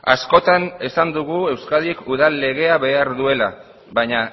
askotan esan dugu euskadik udal legea behar duela baina